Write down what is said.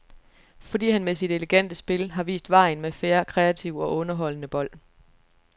Fordi han med sit elegante spil har vist vejen med fair, kreativ og underholdende bold.